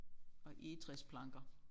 Og egetræsplanker